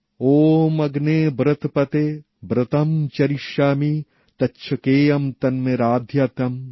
ওম অগ্নে ব্রতপতে ব্রতম্ চরিষ্যামি তচ্ছকেয়ম তন্মে রাধ্যতাম